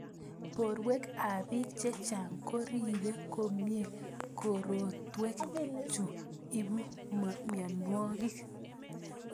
Porwek ap pik chechang ko ripe komie korotwek chu ipu mionwek.